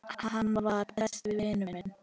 Hann var. besti vinur minn.